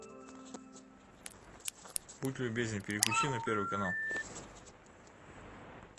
будь любезен переключи на первый канал